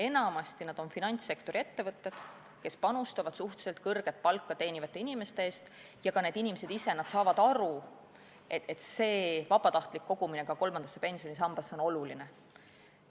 Enamasti on need finantssektori ettevõtted, kes panustavad suhteliselt kõrget palka teenivate inimeste eest, ja ka need inimesed ise saavad aru, et vabatahtlik kogumine kolmandasse pensionisambasse on oluline.